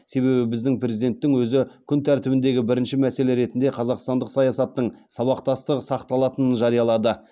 себебі біздің президенттің өзі күн тәртібіндегі бірінші мәселе ретінде қазақстандық саясаттың сабақтастығы сақталатынын жариялады